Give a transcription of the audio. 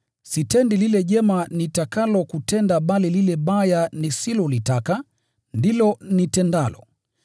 Sitendi lile jema nitakalo kutenda, bali lile baya nisilolitaka, ndilo nitendalo.